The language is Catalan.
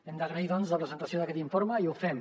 hem d’agrair doncs la presentació d’aquest informe i ho fem